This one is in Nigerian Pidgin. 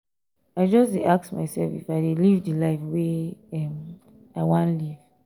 i just dey ask mysef if i dey live di life wey um i wan live.